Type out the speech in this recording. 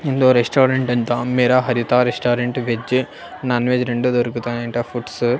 ఏందో రెస్టారెంట్ అంటా మేరా Haritha restaurant veg non veg రెండు దొరుకుతాయంట ఫుడ్స్ .